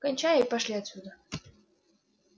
кончай и пошли отсюда